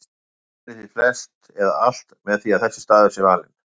Mælir því flest eða alt með því að þessi staður sé valinn.